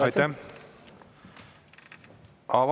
Aitäh!